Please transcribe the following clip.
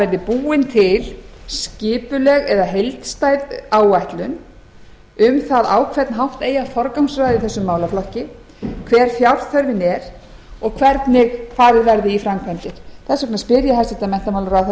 verði búin til skipuleg eða heildstæð áætlun um það á hvern hátt eigi að forgangsraða í þessum málaflokki hver fjárþörfin er og hvernig farið verði í framkvæmdir þess vegna spyr ég hæstvirtan menntamálaráðherra